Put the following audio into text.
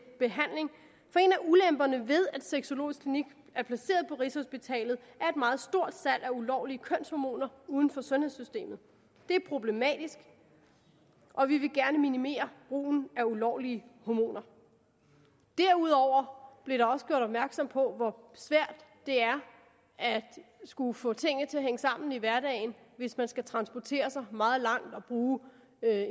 ulemperne ved at sexologisk klinik er placeret på rigshospitalet er et meget stort salg af ulovlige kønshormoner uden for sundhedssystemet det er problematisk og vi vil gerne minimere brugen af ulovlige hormoner derudover blev der også gjort opmærksom på hvor svært det er at skulle få tingene til at hænge sammen i hverdagen hvis man skal transportere sig meget langt og bruge